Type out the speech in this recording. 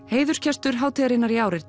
heiðursgestur hátíðarinnar í ár er